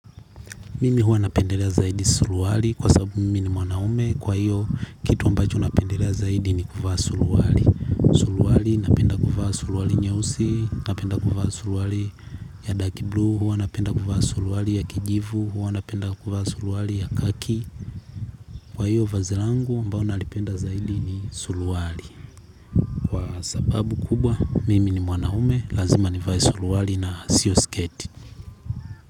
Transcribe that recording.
Mimi huwa napendelea zaidi suruali kwa sababu mimi ni mwanaume kwa hiyo kitu ambacho napendelea zaidi ni kuvaa suruali. Suruali napenda kuvaa suruali nyeusi, napenda kuvaa suruali ya dark blue, huwa napenda kuvaa suruali ya kijivu, huwa napenda kuvaa suruali ya kaki. Kwa hiyo vazi langu mbao nalipenda zaidi ni suruali. Sababu kubwa mimi ni mwanaume, lazima nivae suruali na siyo sketi.